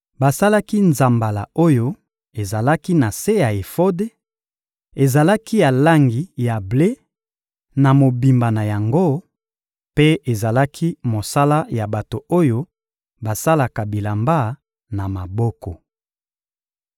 Basalaki nzambala oyo ezalaki na se ya efode: ezalaki ya langi ya ble na mobimba na yango, mpe ezalaki mosala ya bato oyo basalaka bilamba na maboko.